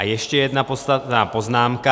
A ještě jedna podstatná poznámka.